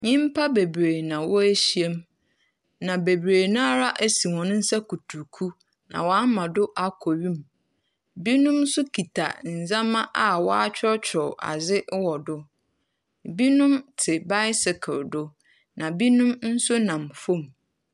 Nnyimpa bebree na wɔahyiam. Na dodow no ara asi wɔn nsa kutruku. Na wɔama ho akɔ wim. Binom nso kita ndzama a wɔakyerɛwkyerɛw adze wɔ do. Binom te bicycle do. Na binom nso nam famu.